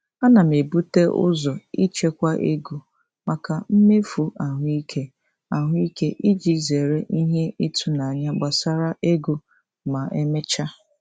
Ana m ebute ụzọ ichekwa ego maka mmefu ahụike ahụike iji zere ihe ịtụnanya gbasara ego ma emechaa.